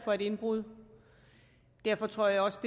for et indbrud derfor tror jeg også